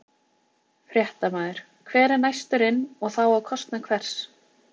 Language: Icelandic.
Fréttamaður: Hver er næstur inn og þá á kostnað hvers?